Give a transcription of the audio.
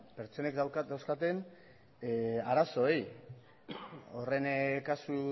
pertsonek dauzkaten arazoei horren kasu